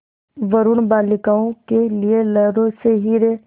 वरूण बालिकाओं के लिए लहरों से हीरे